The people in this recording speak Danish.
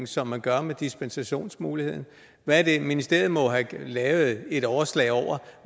som man gør med dispensationsmuligheden ministeriet må have lavet et overslag over